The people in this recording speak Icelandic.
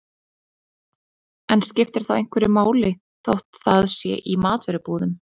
En skiptir þá einhverju máli þótt það sé í matvörubúðum?